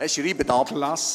Schreiben Sie ab.